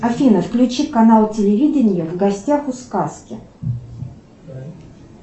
афина включи канал телевидения в гостях у сказки